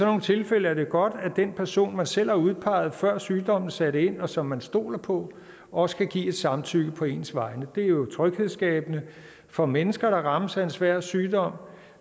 nogle tilfælde er det godt at den person man selv har udpeget før sygdommen satte ind og som man stoler på også kan give et samtykke på ens vegne det er jo tryghedsskabende for mennesker der rammes af en svær sygdom